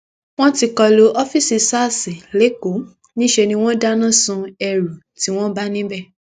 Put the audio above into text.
wọn ti kọ lu ọfíìsì sars lẹkọọ níṣẹ ni wọn dáná sun ẹrú tí wọn bá níbẹ